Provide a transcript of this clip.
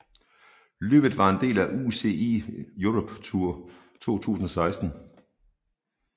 Løbet var en del af UCI Europe Tour 2016